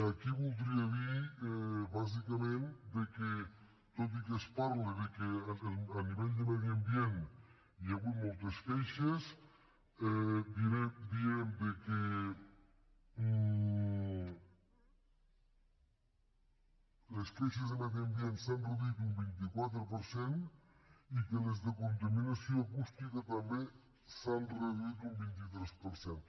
aquí voldria dir bàsicament que tot i que es parla de que a nivell de medi ambient hi ha hagut moltes queixes direm que les queixes de medi ambient s’han reduït un vint quatre per cent i que les de contaminació acústica també s’han reduït un vint tres per cent